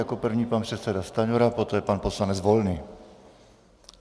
Jako první pan předseda Stanjura, poté pan poslanec Volný.